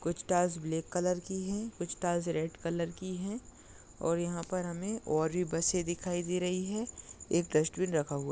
कुछ tiles black colour की है कुछ टाइल्स रेड कलर की है और यह पर हमे और भी बसे दिखाई दे रही है एक डस्ट्बिन रखा हुआ।